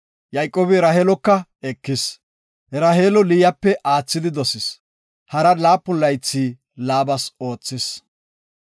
Yayqoobi Raheeloka ekis. Raheelo Liyape aathidi dosis. Hara laapun laythi Laabas oothis.